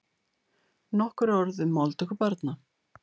Nokkur orð um máltöku barna.